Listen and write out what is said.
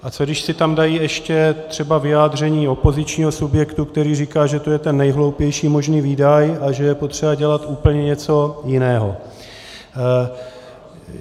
A co když si tam dají ještě třeba vyjádření opozičního subjektu, který říká, že to je ten nejhloupější možný výdaj a že je potřeba dělat úplně něco jiného?